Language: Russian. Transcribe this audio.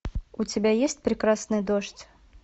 у тебя есть прекрасный дождь